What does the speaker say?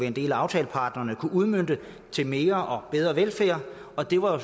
en del af aftaleparterne kunne udmønte til mere og bedre velfærd og det var jo